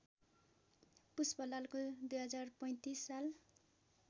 पुष्पलालको २०३५ साल